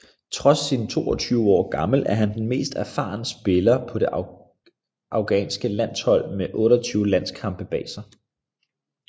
Trods sin 22 år gammel er han den mest erfaren spiller på det afghanske landshold med 28 landskampe bag sig